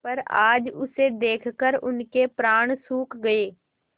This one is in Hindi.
पर आज उसे देखकर उनके प्राण सूख गये